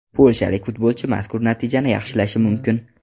Polshalik futbolchi mazkur natijani yaxshilashi mumkin.